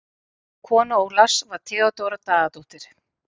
Kona Ólafs var Theódóra Daðadóttir.